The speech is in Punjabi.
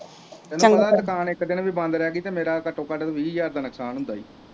ਤੈਨੂੰ ਪਤਾ ਦੁਕਾਨ ਇੱਕ ਦਿਨ ਵੀ ਬੰਦ ਰਹਿ ਗਈ ਤਾਂ ਮੇਰਾ ਘੱਟੋ ਘੱਟ ਵੀਹ ਹਜ਼ਾਰ ਦਾ ਨੁਕਸਾਨ ਹੁੰਦਾ ਹੈ।